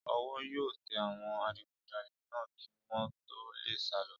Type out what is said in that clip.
Ọwọ́ yóò tẹ àwọn adigunjalè náà kí wọ́n tó lè sálọ